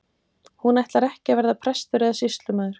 Hún ætlar ekki að verða prestur eða sýslumaður.